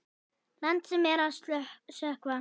Landi sem er að sökkva.